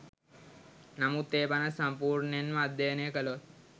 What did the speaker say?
නමුත් ඒ පනත සම්පූර්ණයෙන් ම අධ්‍යයනය කළොත්